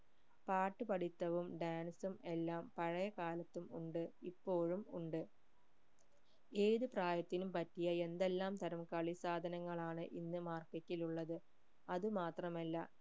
പാട്ട് പഠിത്തവും dance ഉം എല്ലാം പഴയ കാലത്തും ഉണ്ട് ഇപ്പോഴും ഉണ്ട് ഏത് പ്രായത്തിനും പറ്റിയ എന്തെല്ലാം തരം കളി സാധനങ്ങളാണ് ഇന്ന് market ഇൽ ഉള്ളത് അത് മാത്രമല്ല